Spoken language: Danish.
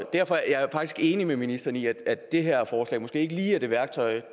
derfor er jeg faktisk enig med ministeren i at det her forslag måske ikke lige er det værktøj